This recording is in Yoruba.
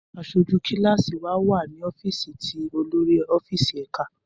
Aṣoju kilasi wa wa ni ọfíìsì ti olori ọfíìsì ẹka.